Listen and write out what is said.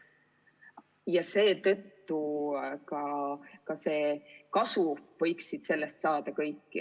Ja seetõttu võiksid nendest meetmetest kasu saada ka kõik.